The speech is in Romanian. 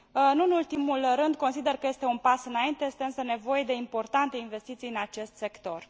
Nu în ultimul rând, consider că este un pas înainte, este însă nevoie de importante investiții în acest sector.